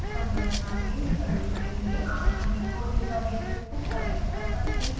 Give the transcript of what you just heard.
संरचना को निकलने के लिए आप अनेकों डेटाबेसेस को कनेक्ट कर सकते हैं